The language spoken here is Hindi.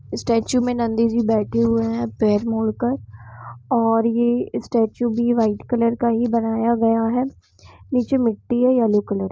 स्टेचू में गांधी जी बैठे हुए है पैर मोड़ कर और यह स्टैच्यू में वाइट कलर का है बनाया गया है निचे मिटी है येलो कलर की --